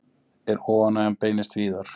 En óánægjan beinist víðar.